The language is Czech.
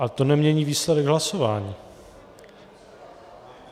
Ale to nemění výsledek hlasování.